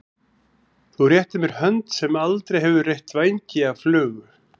Þú réttir mér hönd sem aldrei hefur reytt vængi af flugu.